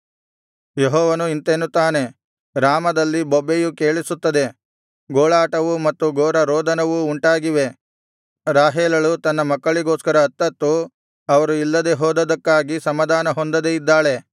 ಯೆಹೋವನು ಇಂತೆನ್ನುತ್ತಾನೆ ರಾಮಾದಲ್ಲಿ ಬೊಬ್ಬೆಯು ಕೇಳಿಸುತ್ತದೆ ಗೋಳಾಟವೂ ಮತ್ತು ಘೋರ ರೋದನವೂ ಉಂಟಾಗಿವೆ ರಾಹೇಲಳು ತನ್ನ ಮಕ್ಕಳಿಗೋಸ್ಕರ ಅತ್ತತ್ತು ಅವರು ಇಲ್ಲದೆ ಹೋದದ್ದಕ್ಕಾಗಿ ಸಮಾಧಾನ ಹೊಂದದೆ ಇದ್ದಾಳೆ